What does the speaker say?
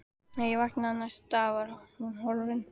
Þegar ég vaknaði næsta dag var hún horfin.